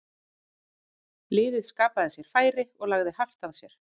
Liðið skapaði sér færi og lagði hart að sér.